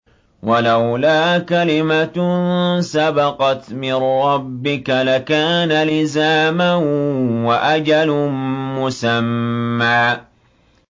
وَلَوْلَا كَلِمَةٌ سَبَقَتْ مِن رَّبِّكَ لَكَانَ لِزَامًا وَأَجَلٌ مُّسَمًّى